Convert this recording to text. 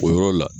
O yɔrɔ la